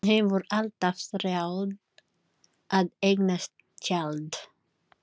Hún hefur alltaf þráð að eignast tjald.